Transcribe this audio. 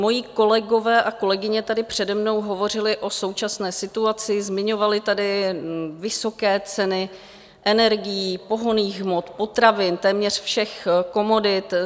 Moji kolegové a kolegyně tady přede mnou hovořili o současné situaci, zmiňovali tady vysoké ceny energií, pohonných hmot, potravin, téměř všech komodit.